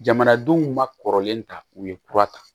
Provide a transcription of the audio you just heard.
Jamanadenw ma kɔrɔlen ta u ye kura ta